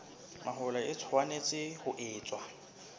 mahola e tshwanetse ho etswa